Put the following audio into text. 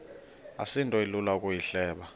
asinto ilula ukuyihleba